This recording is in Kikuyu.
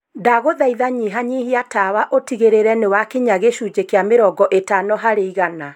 ndaguthaitha nyihanyihia tawa utigirire ni wakinya gĩcunjĩ kĩa mĩrongo ĩtano harĩ igana.